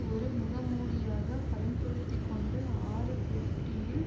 ஒரு முகமூடியாக பயன்படுத்தி கொண்டு ஆறு பெட்டியில்